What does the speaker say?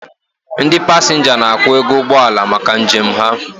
Ndị pasenga n'akwu ego ụgbọala maka njem ha